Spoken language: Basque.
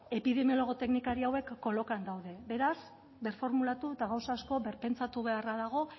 epidemiologo teknikari hauek kolokan daude beraz birformulatu eta gauza asko birpentsatu beharra dago